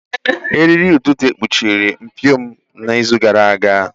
Eriri idide kpuchiri mpio m n'izu gara aga.